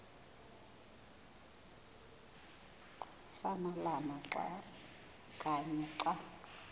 samalama kanye xa